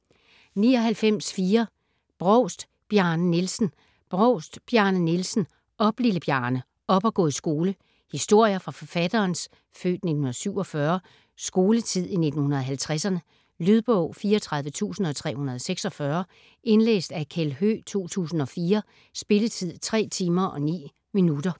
99.4 Brovst, Bjarne Nielsen Brovst, Bjarne Nielsen: Op, lille Bjarne! - op og gå i skole Historier fra forfatterens (f. 1947) skoletid i 1950'erne. Lydbog 34346 Indlæst af Kjeld Høegh, 2004. Spilletid: 3 timer, 9 minutter.